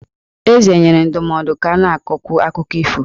Eze nyere ndụmọdụ ka a na-akọkwu akụkọ ifo.